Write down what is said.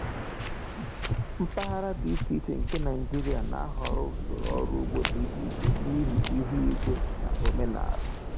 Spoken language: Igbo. Mpaghara dị iche iche nke Nigeria na-ahọrọ usoro ọrụ ugbo dị iche iche n’ihi ihu igwe na omenala.